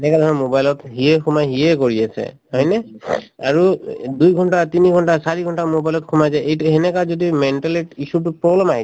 এনেকাধৰণৰ mobile ত সিয়ে সোমাই সিয়ে কৰি আছে হয়নে আৰু এই দুই ঘণ্টা তিনি ঘণ্টা চাৰি ঘণ্টা mobile ত সোমাই যায় এইটো সেনেকা যদি issue তোত problem আহি যায়